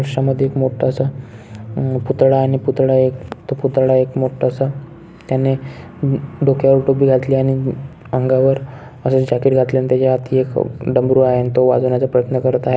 दृश्यामध्ये मध्ये एक मोठ स पुतळा आणि पुतळा एक पुतळा एक मोठ्स त्यांनी डोक्यावर टोपी घातली आणि अंगावर आस जॅकिट घातली आणि त्याच्या हाती एक डमरू आहे आणि तो वाजवण्याचा प्रयत्न करत आहे.